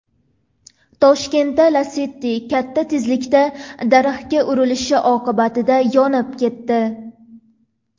Toshkentda Lacetti katta tezlikda daraxtga urilishi oqibatida yonib ketdi.